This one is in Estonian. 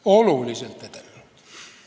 Oluliselt edenenud!